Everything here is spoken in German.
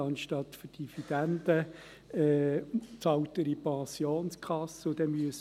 Dann bezahlt er in die Pensionskasse ein.